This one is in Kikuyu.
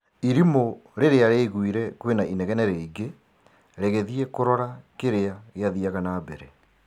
Irimũ rĩrĩa rĩaiguire kwĩna inegene rĩingi rĩgĩthiĩ kũrora kĩrĩa gĩathiaga na mbere.